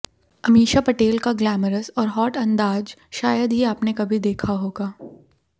अमीषा पटेल का ग्लैमरस और हॉट अंदाज शायद ही आपने कभी देखा होगा